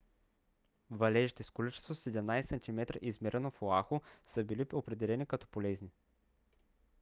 валежите с количество 17 см измерено в оаху са били определени като полезни